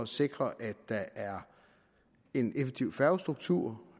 sikre at der er en effektiv færgestruktur